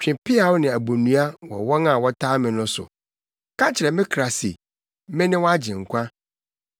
Twe peaw ne abonnua wɔ wɔn a wɔtaa me no so. Ka kyerɛ me kra se, “Mene wʼagyenkwa.”